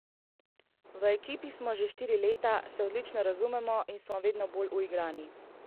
V ekipi smo skupaj že štiri leta, se odlično razumemo in smo vedno bolj uigrani.